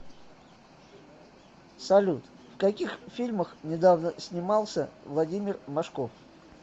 салют в каких фильмах недавно снимался владимир машков